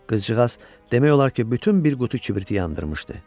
Qızcığaz demək olar ki, bütün bir qutu kibriti yandırmışdı.